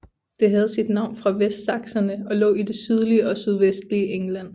Det havde sit navn fra vestsakserne og lå i det sydlige og sydvestlige England